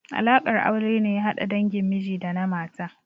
Alaƙar aure ne ya hada dangin miji da na mata.